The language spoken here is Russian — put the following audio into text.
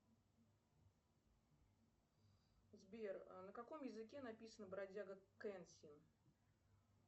сбер на каком языке написана бродяга кэнсин